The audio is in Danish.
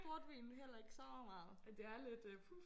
Portvin heller ikke så meget